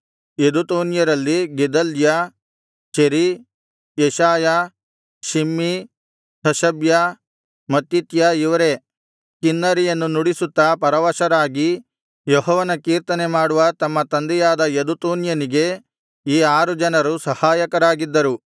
ಯೆದುತೂನ್ಯರಲ್ಲಿ Gedaliah Zeri Jeshaiah Shimei Hashabiah Mattithiah ಇವರೇ ಕಿನ್ನರಿಯನ್ನು ನುಡಿಸುತ್ತಾ ಪರವಶರಾಗಿ ಯೆಹೋವನ ಕೀರ್ತನೆ ಮಾಡುವ ತಮ್ಮ ತಂದೆಯಾದ ಯೆದುತೂನ್ಯನಿಗೆ ಈ ಆರು ಜನರೂ ಸಹಾಯಕರಾಗಿದ್ದರು